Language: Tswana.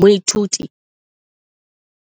Moithuti